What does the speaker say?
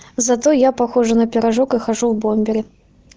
зато я похожа на пирожок и хожу в бомбере